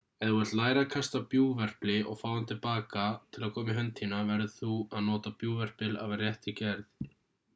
ef þú vilt læra að kasta bjúgverpli og fá hann til að koma til baka í hönd þína verður þú að nota bjúgverpil af réttri gerð